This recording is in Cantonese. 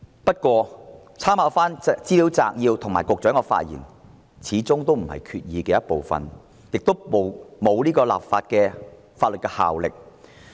不過，立法會參考資料摘要及局長的發言始終不是決議案的一部分，亦沒有法律效力。